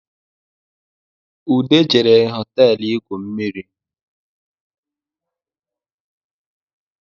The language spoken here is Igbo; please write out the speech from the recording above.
Ude jere hoteelu igwu mmiri